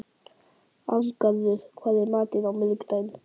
Arngarður, hvað er í matinn á miðvikudaginn?